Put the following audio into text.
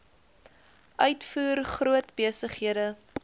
uitvoer groot besighede